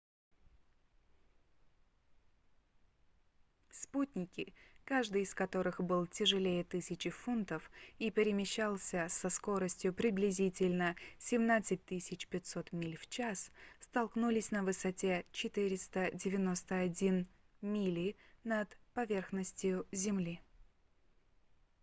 спутники каждый из которых был тяжелее 1 000 фунтов и перемещался со скоростью приблизительно 17 500 миль в час столкнулись на высоте 491 мили над поверхностью земли